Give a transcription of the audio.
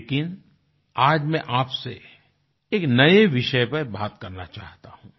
लेकिन आज मैं आपसे एक नए विषय पर बात करना चाहता हूँ